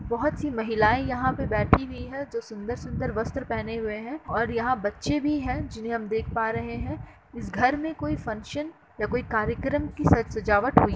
बहोत सी महिलाऐं यहाँ पर बैठी हुई हैं जो सुन्दर-सुन्दर वस्त्र पहने हुए हैं और यहाँ बच्चे भी हैं जिन्हें हम देख पा रहे हैं। इस घर में कोई फंक्शन या कोई कार्यक्रम की स सजावट हुई --